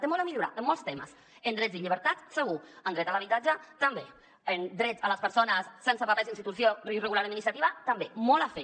té molt a millorar en molts temes en drets i llibertats segur en dret a l’habitatge també en dret a les persones sense papers i en situació irregular administrativa també molt a fer